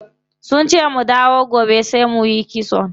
Sunce mu dawo gobe sai muyi kitson.